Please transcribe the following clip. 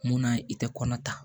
Munna i tɛ kɔnɔ ta